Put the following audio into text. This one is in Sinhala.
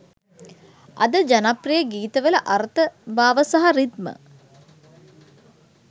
අද ජනප්‍රිය ගීතවල අර්ථ භාව සහ රි්දම